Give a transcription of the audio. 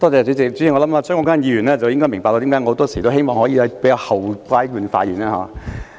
主席，相信張國鈞議員應該明白為何我很多時也希望在較後階段發言。